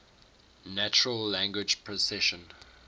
natural language processing